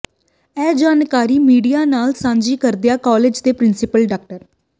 ਇਹ ਜਾਣਕਾਰੀ ਮੀਡੀਏ ਨਾਲ ਸਾਂਝੀ ਕਰਦਿਆ ਕਾਲਜ ਦੇ ਪ੍ਰਿੰਸੀਪਲ ਡਾ